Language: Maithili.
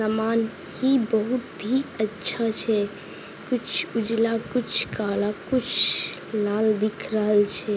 सामान ही बहुत ही अच्छा छै कुछ उजला कुछ काला कुछ लाल दिख रहल छै।